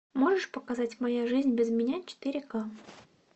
можешь показать моя жизнь без меня четыре ка